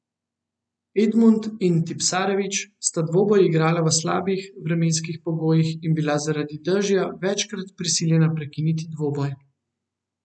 Edmund in Tipsarević sta dvoboj igrala v slabih vremenskih pogojih in bila zaradi dežja večkrat prisiljena prekiniti dvoboj.